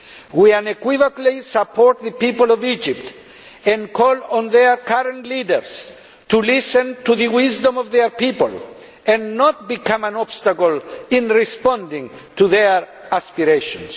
We unequivocally support the people of Egypt and call on their current leaders to listen to the wisdom of their people and not to become an obstacle in responding to their aspirations.